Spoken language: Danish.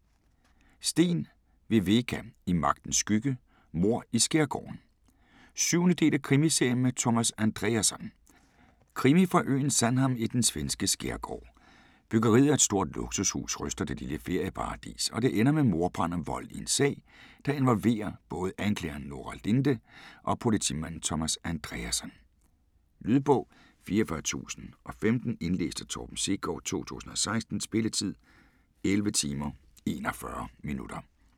Sten, Viveca: I magtens skygge: mord i skærgården 7. del af Krimiserien med Thomas Andreasson. Krimi fra øen Sandhamn i den svenske skærgård. Byggeriet af et stort luksushus ryster det lille ferieparadis, og det ender med mordbrand og vold i en sag, der involverer både anklageren Nora Linde og politimanden Thomas Andreasson. Lydbog 44015 Indlæst af Torben Sekov, 2016. Spilletid: 11 timer, 41 minutter.